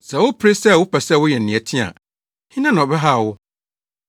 Sɛ wopere sɛ wopɛ sɛ woyɛ nea ɛteɛ a, hena na ɔbɛhaw wo?